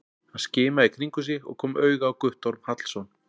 Hann skimaði í kringum sig og kom auga á Guttorm Hallsson.